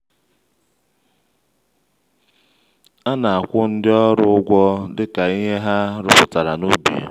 a na-akwụ ndị ọrụ ụgwọ dịka ihe ha rụpụtara n’ubi.